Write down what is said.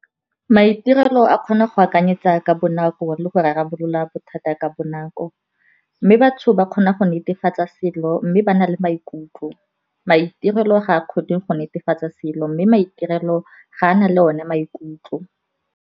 Maitirelo a kgona go akanyetsa ka bonako le go rarabolola bothata ka bonako, mme batho ba kgona go netefatsa selo mme ba na le maikutlo. Maitirelo ga a kgone go netefatsa selo mme maitirelo ga a na le o ne maikutlo.